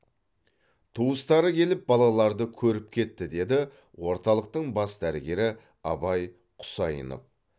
туыстары келіп балаларды көріп кетті деді орталықтың бас дәрігері абай құсайынов